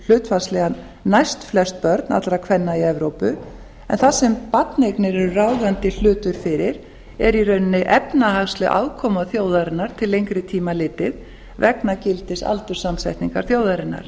hlutfallslega næstflest börn allra kvenna í evrópu en það sem barneignir eru ráðandi hlutur fyrir er í rauninni efnahagsleg afkoma þjóðarinnar til lengri tíma litið vegna gildis aldurssamsetningar þjóðarinnar